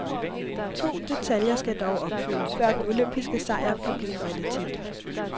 To detaljer skal dog opfyldes, før den olympiske sejr kan blive en realitet.